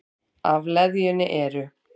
Af leðjunni eru